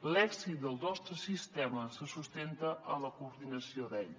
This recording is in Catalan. l’èxit del nostre sistema se sustenta en la coordinació d’ell